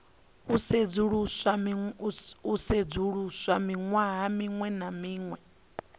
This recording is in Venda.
sedzuluswa ṅwaha muṅwe na muṅwe